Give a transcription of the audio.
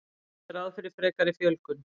Gert er ráð fyrir frekari fjölgun